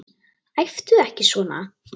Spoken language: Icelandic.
Æptu ekki svona!